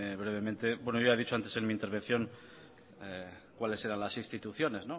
brevemente ya he dicho antes en mi intervención cuáles eran las instituciones